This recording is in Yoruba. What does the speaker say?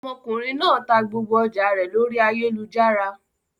Ọmọkùnrin náà ta gbogbo ọjà rẹ lórí ayélujára.